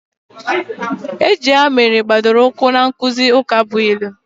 Ejije ha mere gbadoro ụkwụ na nkụzi ukabụilu